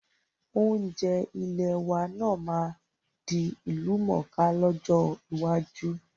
Oúnjẹ ilẹ̀ wa náà máa di ìlú mọ́ ká lọ́jọ́ iwájú